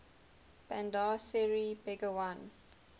bandar seri begawan